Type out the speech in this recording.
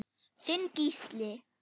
Þinn Gísli.